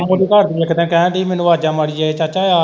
ਰਾਮੂ ਦੀ ਘਰਦੀ ਇੱਕ ਦਿਨ ਕਹਿਣ ਦੀ ਮੈਨੂੰ ਵਾਜਾਂ ਮਾਰੀ ਜਾਏ ਚਾਚਾ ਆ।